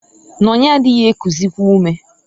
"Nonye adịghị ekuzịkwa ume".